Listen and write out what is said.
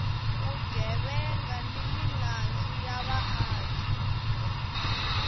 vugevenga ni milandzu ya vaaki